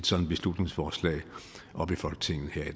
sådant beslutningsforslag op i folketinget her i